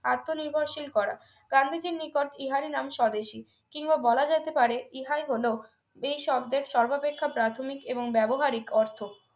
আত্মনির্ভরশীল করা গান্ধীজীর নিকট ইহারই নাম স্বদেশী কিংবা বলা যেতে পারে হল এই সব দেশ সর্বাপেক্ষা প্রাথমিক এবং ব্যবহারিক অর্থ